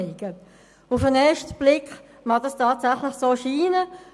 Auf den ersten Blick mag das tatsächlich so erscheinen.